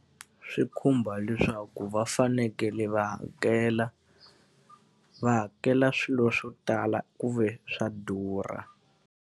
Swi khumba leswaku va fanekele va hakela, va hakela swilo swo tala ku ve swa durha.